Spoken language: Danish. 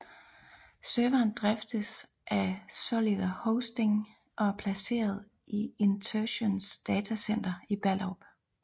Serveren driftes af Solido Hosting og er placeret i Interxions datacenter i Ballerup